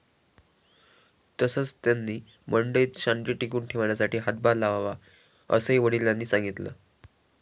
तसंच, त्यांनी मंडळीत शांती टिकवून ठेवण्यासाठी हातभार लावावा, असंही वडिलांनी सांगितलं.